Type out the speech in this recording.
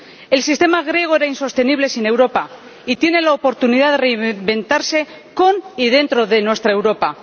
El sistema griego era insostenible sin Europa y tiene la oportunidad de reinventarse con y dentro de nuestra Europa.